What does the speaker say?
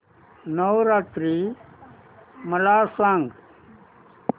नवरात्री मला सांगा